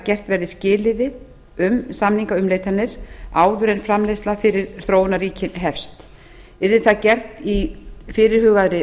gert verði skilyrði um samningaumleitanir áður en framleiðsla fyrir þróunarríkin hefst yrði það gert í fyrirhugaðri